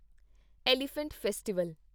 elephant festival